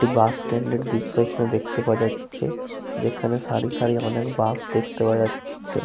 একটি bus stand -এর দৃশ্য এখানে দেখতে পাওয়া যাচ্ছে । যেখানে সারি সারি অনেক বাস দেখতে পাওয়া যাচ্ছে।